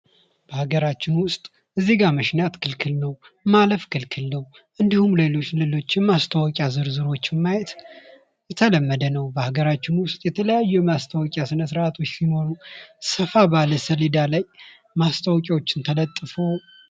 ማስታወቂያ ምርትን፣ አገልግሎትን ወይም ሐሳብን ለተወሰነ ታዳሚ ለማስተዋወቅ የሚደረግ የሚከፈልበት የግንኙነት ዘዴ ነው።